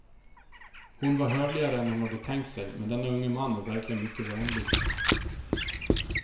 Hon var hövligare än hon hade tänkt sig, men denne unge man var verkligen mycket vänlig.